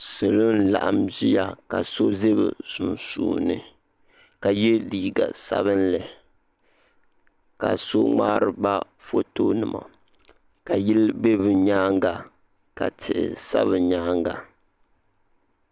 Salo n-laɣim ʒiya ka so ʒe bɛ sunsuuni ka ye liiga sabinli ka so ŋmari ba fotonima ka yili be bɛ nyaaŋa ka tihi sa bɛ nyaaŋa.